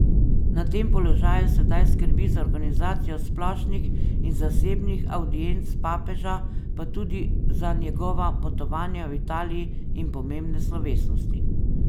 Na tem položaju sedaj skrbi za organizacijo splošnih in zasebnih avdienc papeža, pa tudi za njegova potovanja v Italiji in pomembne slovesnosti.